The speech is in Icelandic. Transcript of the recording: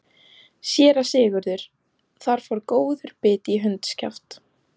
SÉRA SIGURÐUR: Þar fór góður biti í hundskjaft.